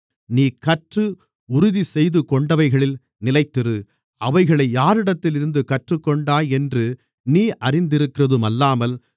நீ கற்று உறுதிசெய்துகொண்டவைகளில் நிலைத்திரு அவைகளை யாரிடத்திலிருந்து கற்றுக்கொண்டாய் என்று நீ அறிந்திருக்கிறதுமல்லாமல்